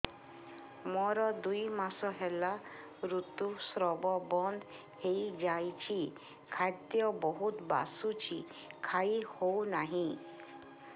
ମୋର ଦୁଇ ମାସ ହେଲା ଋତୁ ସ୍ରାବ ବନ୍ଦ ହେଇଯାଇଛି ଖାଦ୍ୟ ବହୁତ ବାସୁଛି ଖାଇ ହଉ ନାହିଁ